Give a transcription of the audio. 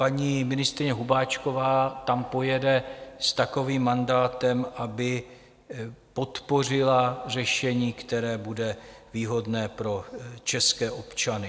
Paní ministryně Hubáčková tam pojede s takovým mandátem, aby podpořila řešení, které bude výhodné pro české občany.